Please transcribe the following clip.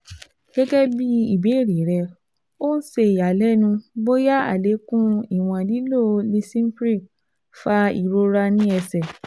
Gẹgẹbi ibeere rẹ o n ṣe iyalẹnu boya alekun iwọn lilo Lisinopril fa irora ni ẹsẹ